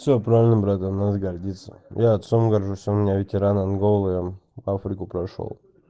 все правильно брать анализ гордиться я отцом горжусь он у меня ветеранам анголы он африку прошёл